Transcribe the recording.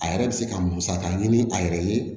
A yɛrɛ bɛ se ka musaka ɲini a yɛrɛ ye